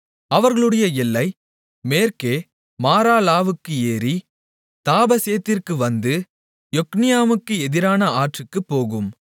அவர்களுடைய எல்லை மேற்கே மாராலாவுக்கு ஏறி தாபசேத்திற்கு வந்து யொக்னியாமுக்கு எதிரான ஆற்றுக்குப் போகும்